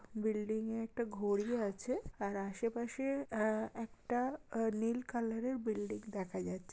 Building - এ একটা ঘড়ি আছে। আর আশে পাশে আহ একটা আহ নীল কালোর -এর বিল্ডিং দেখা যাচ্ছে।